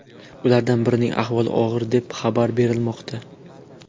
Ulardan birining ahvoli og‘ir deb xabar berilmoqda.